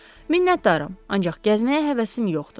Minnətdaram, ancaq gəzməyə həvəsim yoxdur.